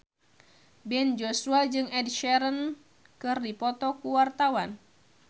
Ben Joshua jeung Ed Sheeran keur dipoto ku wartawan